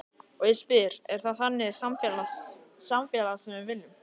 Og ég spyr, er það þannig samfélag sem við viljum?